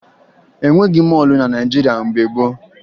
E nweghi mọọlụ na Naịjirịa mgbe gboo